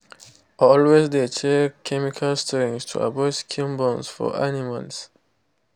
always de check chemical strength to avoid skin burns for animals.